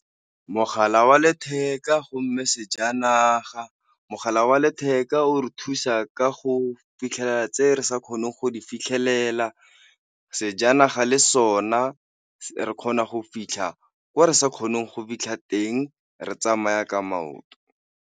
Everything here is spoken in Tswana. Mogala wa letheka go mme sejanaga, mogala wa letheka o re thusa ka go fitlhelela tse re sa kgoneng go di fitlhelela, sejanaga le sona re kgona go fitlha kwa re sa kgoneng go fitlha teng re tsamaya ka maoto.